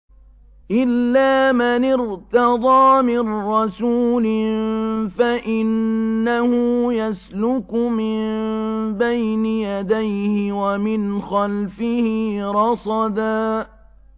إِلَّا مَنِ ارْتَضَىٰ مِن رَّسُولٍ فَإِنَّهُ يَسْلُكُ مِن بَيْنِ يَدَيْهِ وَمِنْ خَلْفِهِ رَصَدًا